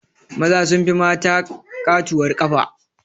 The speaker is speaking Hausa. Maza sun fi mata ƙatuwar ƙafa